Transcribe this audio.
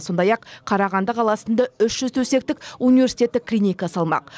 сондай ақ қарағанды қаласында үш жүз төсектік университеттік клиника салмақ